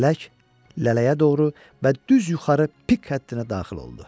Lələk lələyə doğru və düz yuxarı pik həddinə daxil oldu.